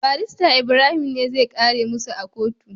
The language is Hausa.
barista ibrahim ne zai kare musa a kotu